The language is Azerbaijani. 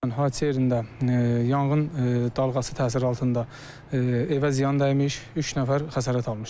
Hadisə yerində yanğın dalğası təsiri altında evə ziyan dəymiş, üç nəfər xəsarət almışdır.